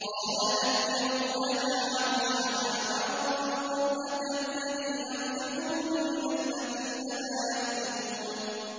قَالَ نَكِّرُوا لَهَا عَرْشَهَا نَنظُرْ أَتَهْتَدِي أَمْ تَكُونُ مِنَ الَّذِينَ لَا يَهْتَدُونَ